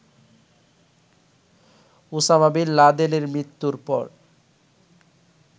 Osama bin লাদেনের মৃত্যুর পর